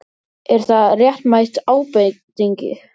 Er það réttmæt ábending?